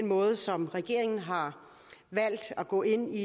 måde som regeringen har valgt at gå ind i